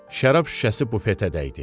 Şərab şüşəsi bufetə dəydi.